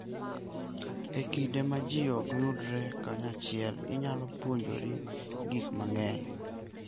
E kinde ma ji ok yudre kanyachiel, inyalo puonjori gik mang'eny.